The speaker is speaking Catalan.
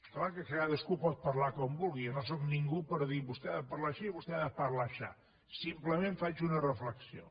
clar que cadascú pot parlar com vulgui jo no sóc ningú per dir vostè ha de parlar així i vostè ha de parlar aixà simplement faig una reflexió